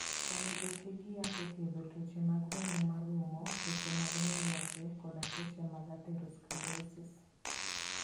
Onego oti gi yath e thiedho tuoche mag remo marumo, tuoche mag nyiroke, kod tuoche mag atherosclerosis.